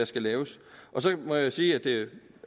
skal laves så må jeg sige at det